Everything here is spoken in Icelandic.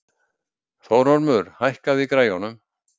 Þórormur, hækkaðu í græjunum.